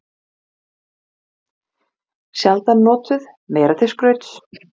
Ungu mennirnir tveir báru skilríki stjórnarerindreka: farangur þeirra mátti tollgæslan ekki rannsaka.